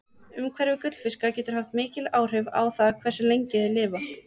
Umhverfi gullfiska getur haft mikil áhrif á það hversu lengi þeir lifa.